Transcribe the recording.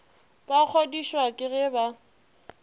ba kgodišwa ke ge ba